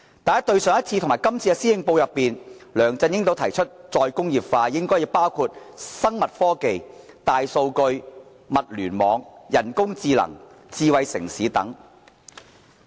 但是，在上一份和這份施政報告中，梁振英均提出再工業化應該包括"生物科技、大數據、物聯網、人工智能、智慧城市等"。